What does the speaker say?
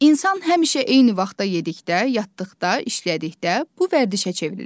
İnsan həmişə eyni vaxtda yedikdə, yatdıqda, işlədikdə bu vərdişə çevrilir.